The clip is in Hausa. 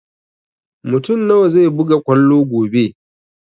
Mutun nawa zai buga kwallo gobe?